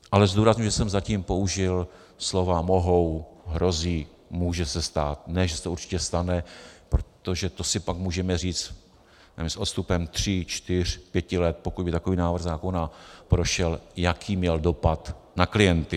Ale zdůrazňuji, že jsem zatím použil slova mohou, hrozí, může se stát, ne že se to určitě stane, protože to si pak můžeme říct s odstupem tří čtyř pěti let, pokud by takový návrh zákona prošel, jaký měl dopad na klienty.